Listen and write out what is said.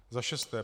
Za šesté.